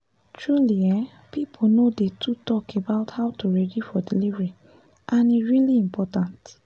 truly[um]people no dey too talk about how to ready for delivery and e really important